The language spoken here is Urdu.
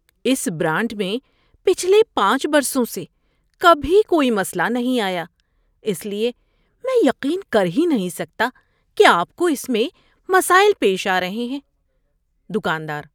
اس برانڈ میں پچھلے پانچ برسوں سے کبھی کوئی مسئلہ نہیں آیا، اس لیے میں یقین کر ہی نہیں سکتا کہ آپ کو اس میں مسائل پیش آ رہے ہیں۔ (دکاندار)